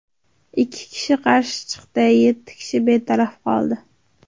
Ikki kishi qarshi chiqdi, yetti kishi betaraf qoldi.